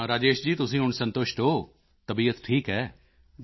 ਤਾਂ ਰਾਜੇਸ਼ ਜੀ ਤੁਸੀਂ ਹੁਣ ਸੰਤੁਸ਼ਟ ਹੋ ਤਬੀਅਤ ਠੀਕ ਹੈ